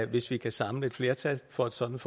hvis der kan samles flertal for et sådant